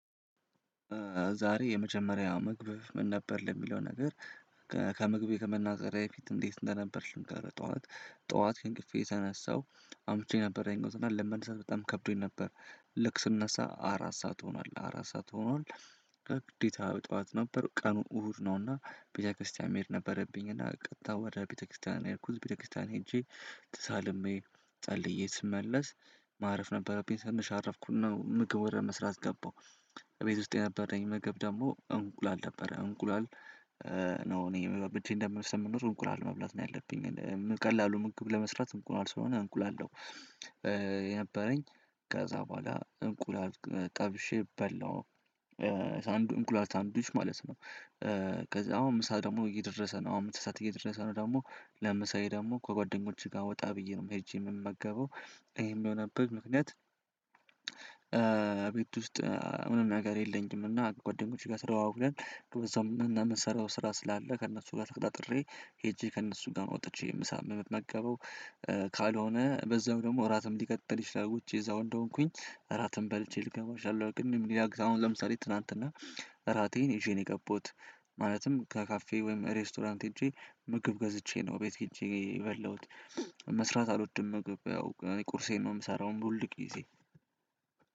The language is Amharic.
ዛሬ የመጀመሪያው ምግብህ ምን ነበር ለሚለው ነገር ከምግቤ ከመናገሬ በፊት እንዴት እንደነበርሽን ከረጠው አለት? ጠዋት ከእንቅፌ ተነሳሁ አምሽቼ ነበረኝነት እና ለመነሳት በጣም ከብዶኝ ነበር። ልክ ስነሳ አራት ሰዓት ሆኗል አራት ሰዓት ሆኗል። ግዴታ ጠዋት ነበር ቀኑ እሁድ ነውና ቤተክርስቲያን መሄድ ነበረብኝና ቀጥታ ወደ ቤተክርስቲያን ሄድኩ ቤተክርስቲያን ሄጄ ተሳልሜ ጸልዬ ስመለስ ማረፍ ነበረብኝ ትንሽ አረፍኩ እና ምግብ ወደ መስራት ገባሁ። እቤት ውስጥ የነበረኝ ምግብ ደግሞ እንቁላል ነበረ። እንቁላል ነው እኔ እኔ እንደምልሰን የምኖር እንቁላል መብላት ነው ያለብኝ ቀላሉ ምግብ ለመስራት እንቁላል ስለሆነ እንቁላል ነው። የነበረኝ ከዛ በኋላ እንቁላል ጠብሼ በላሁ እንቁላል ሳንዱች ማለት ነው። አሁን ምሳ ደግሞ እየደረሰ ነው። አሁን ምሳ ሰዓት እየደረሰ ነው ደግሞ ለምሳዬ ደግሞ ከጓደኞችህ ጋር ወጣ ብዬ ነው ሄጄ የምመገበው። ይሄም የሆነብበት ምክንያት ቤት ውስጥ ምንም ነገር የለኝም። እና ጓደኞቼ ጋር ተደዋውለን እና የምንሰራው ስራ ስላለ ከእነሱ ጋር ተቀጣጥሬ ሄጄ ከእነሱ ጋር ነው ወጥቼ ምሳ የምመገበው። ካልሆነ በዛው ደግሞ እራትም ሊቀጥል ይችላል ውጪ እዛው እንደሆንኩኝ እራትም በልቼ ልገባ እችላለሁ። ቅድም ሌላ አሁን ለምሳሌ ትናንትና እራቴን ይዤ ነው የገባሁት። ማለትም ከካፌ ወይም ሬስቶራንት ሄጄ ምግብ ገዝቼ ነው ቤት ሄጄ የበላሁት። መስራት አልወድም ምግብ ያው ቁርሴን ነው የምሰራው ሁልጊዜ